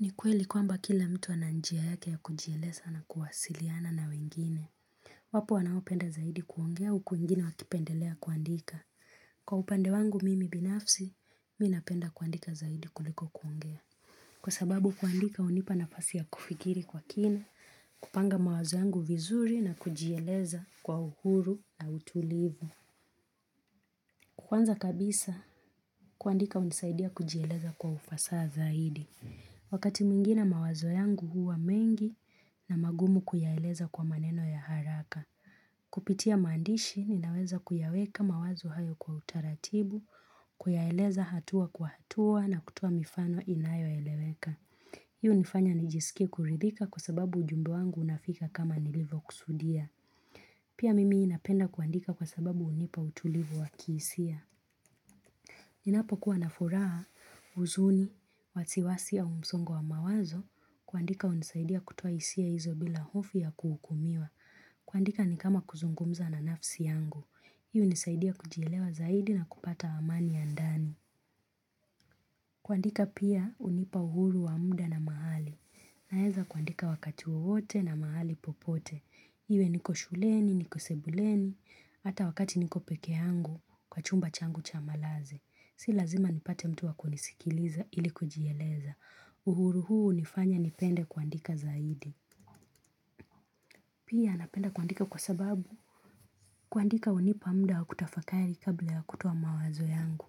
Ni kweli kwamba kila mtu ananjia yake ya kujielesa na kuwasiliana na wengine. Wapo wanawo penda zaidi kuongea uku wengine wakipendelea kuandika. Kwa upande wangu mimi binafsi, minapenda kuandika zaidi kuliko kuongea. Kwa sababu kuandika unipanafasi ya kufigiri kwa kine, kupanga mawazo yangu vizuri na kujieleza kwa uhuru na utulivu. Kwanza kabisa, kuandika hunisaidia kujieleza kwa ufasaha zaidi. Wakati mingine mawazo yangu huwa mengi na magumu kuyaeleza kwa maneno ya haraka. Kupitia mandishi ninaweza kuyaweka mawazo hayo kwa utaratibu, kuyaeleza hatua kwa hatua na kutuo mifano inayo eleweka. Hiyo hunifanya nijisikie kuridhika kwa sababu ujumbe wangu unafika kama nilivo kusudia. Pia mimi inapenda kuandika kwa sababu unipa utulivu wakisia. Ninapo kuwa na furaha uzuni, watiwasi au mzongo wa mawazo, kuandika unisaidia kutua isia hizo bila hofu ya kuhukumiwa. Kuandika ni kama kuzungumza na nafsi yangu. Hii unisaidia kujielewa zaidi na kupata amani ya ndani. Kuandika pia unipa uhuru wa mda na mahali. Naeza kuandika wakati wowote na mahali popote. Iwe niko shuleni, niko sebuleni, hata wakati niko peke yangu kwa chumba changu chamalazi. Si lazima nipate mtu wakunisikiliza ilikujiyeleza. Uhuru huu nifanya nipende kuandika zaidi. Pia napenda kuandika kwa sababu kuandika unipa mda wa kutafakari kabla ya kutowa mawazo yangu.